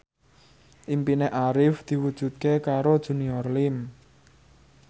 impine Arif diwujudke karo Junior Liem